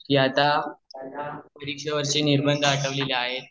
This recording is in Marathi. आता पुढ्या वर्षी निर्मिती आठवलेल्या आहेत